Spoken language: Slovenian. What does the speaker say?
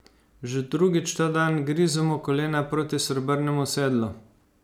Že drugič ta dan grizemo kolena proti Srebrnemu sedlu.